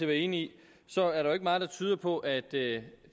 være enig i så er der ikke meget der tyder på at det